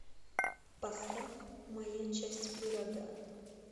поставь моя часть пирога